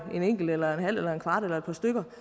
en enkelt eller en halv eller en kvart eller et par stykker